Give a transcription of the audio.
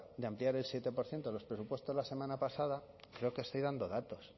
de ampliar del siete por ciento de los presupuestos la semana pasada creo que estoy dando datos